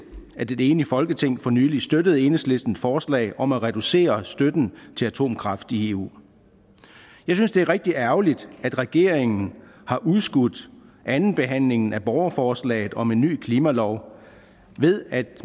at et enigt folketing for nylig støttede enhedslistens forslag om at reducere støtten til atomkraft i eu jeg synes det er rigtig ærgerligt at regeringen har udskudt andenbehandlingen af borgerforslaget om en ny klimalov ved at